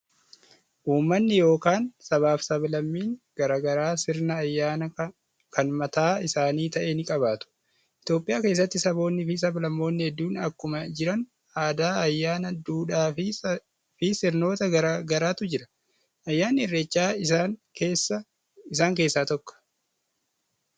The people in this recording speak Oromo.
Ummanni yookaan sabaa fi sablammiin gara garaa sirna ayyaanaa kan mataa isaanii ta'e ni qabaatu. Itoophiyaa keessatti saboonii fi sablammoonni hedduun akkuma jiran, aadaa, ayyaana, duudhaa fi sirnoota gara garaatu jiru. Ayyaanni Irreechaa isaan keessaa tokko.